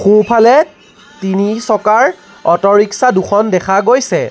সোঁফালে তিনিচকাৰ auto rickshaw দুখন দেখা গৈছে।